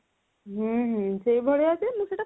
ହୁଁ ହୁଁ ସେଇ ଭଳିଆ ଯେ ମୁଁ ସେଇଟା